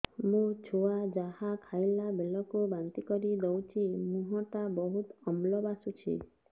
ମୋ ଛୁଆ ଯାହା ଖାଇଲା ବେଳକୁ ବାନ୍ତି କରିଦଉଛି ମୁହଁ ଟା ବହୁତ ଅମ୍ଳ ବାସୁଛି